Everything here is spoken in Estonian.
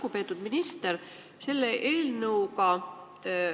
Lugupeetud minister!